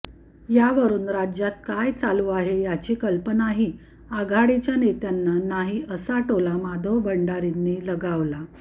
यावरून राज्यात काय चालू आहे याची कल्पनाही आघाडीच्या नेत्यांना नाही असा टोला माधव भंडारींनी लगावला